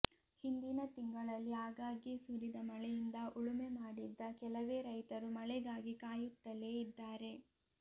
ಹಿಂದಿನ ತಿಂಗಳಲ್ಲಿ ಆಗಾಗ್ಗೆ ಸುರಿದ ಮಳೆಯಿಂದ ಉಳುಮೆ ಮಾಡಿದ್ದ ಕೆಲವೇ ರೈತರು ಮಳೆಗಾಗಿ ಕಾಯುತ್ತಲೇ ಇದ್ದಾರೆ